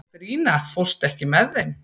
Katrína, ekki fórstu með þeim?